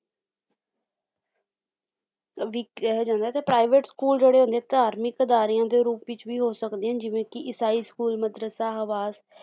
ਵੀ ਕਿਹਾ ਜਾਂਦਾ ਹੈ ਤੇ private school ਜਿਹੜੇ ਹੁੰਦੇ ਆ ਧਾਰਮਿਕ ਅਦਾਰਿਆਂ ਦੇ ਰੂਪ ਵਿੱਚ ਵੀ ਹੋ ਸਕਦੇ ਜਿਵੇਂ ਕੀ ਈਸਾਈ school ਮਦਰਸਾ ਹਵਾਸ